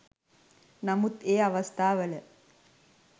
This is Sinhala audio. නමුත් ඒ අවස්ථාවල